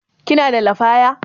Kina da lafaya?